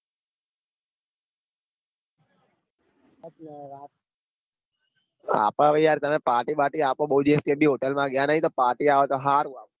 આપડ હવે યાર તમે party બારતી આપો બૌ દિવસ થી hotel માં ગયા નાઈ તો party આવે તો હારું આમ